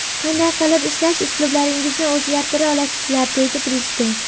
Qanday qilib ishlash uslublaringizni o‘zgartira olasizlar?”, deydi Prezident.